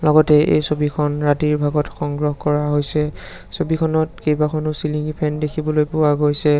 লগতে এই ছবিখন ৰাতিৰ ভাগত সংগ্ৰহ কৰা হৈছে ছবিখনত কেইবাখনো চিলিংঙি ফেন দেখিবলৈ পোৱা গৈছে।